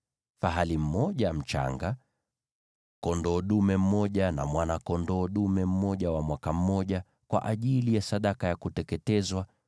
fahali mmoja mchanga, kondoo dume mmoja na mwana-kondoo dume mmoja wa mwaka mmoja, kwa ajili ya sadaka ya kuteketezwa;